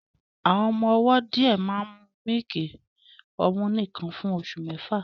Àwọn ọmọ ọwọ́ díẹ̀ máa ń mu mílìkì ọmú nìkan fún oṣù mẹ́fà